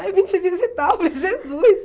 Ai, vim te visitar, eu falei Jesus!